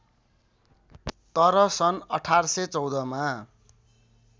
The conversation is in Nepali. तर सन् १८१४ मा